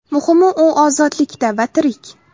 Muhimi u ozodlikda va tirik.